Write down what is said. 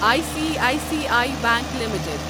I C I C I Bank limited